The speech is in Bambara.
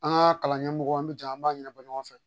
An ka kalan ɲɛmɔgɔw an bi jɛ an b'a ɲɛnabɔ ɲɔgɔn fɛ